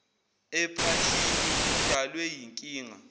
ephashini udalwe yinkinga